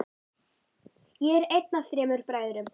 Ég er einn af þremur bræðrum.